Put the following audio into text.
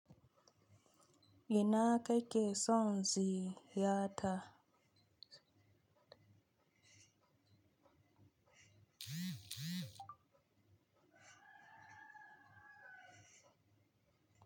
Ina kai ke son ziyarta.